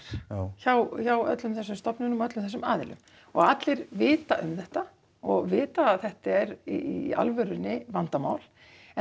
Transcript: hjá hjá öllum þessum stofunum og öllum þessum aðilum og allir vita um þetta og vita að þetta er í alvörunni vandamál en